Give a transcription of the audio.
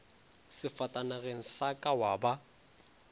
sefatanageng sa ka wa ba